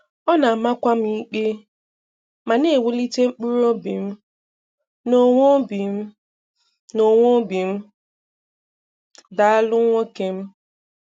Ọ̀ na-àmàkwà m ikpé ma na-ewùlìtè mkpụrụ obi m n’onwe obi m n’onwe m. Dàalụ, nwoké m.